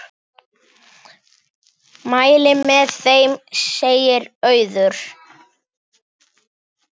Mæli með þeim, segir Auður.